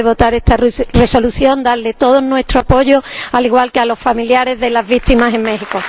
Antes de votar esta Resolución quería darles todo nuestro apoyo, al igual que a los familiares de las víctimas en México.